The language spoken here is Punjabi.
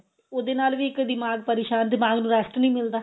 ਉਹਦੇ ਨਾਲ ਵੀ ਇੱਕ ਦਿਮਾਗ ਪਰੇਸ਼ਾਨ ਦਿਮਾਗ ਨੂੰ rest ਨੀ ਮਿਲਦਾ